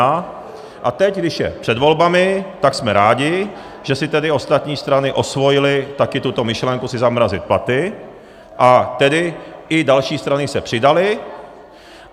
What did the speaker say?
A teď, když je před volbami, tak jsme rádi, že si tedy ostatní strany osvojily taky tuto myšlenku si zamrazit platy, a tedy i další strany se přidaly.